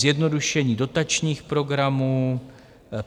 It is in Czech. Zjednodušení dotačních programů.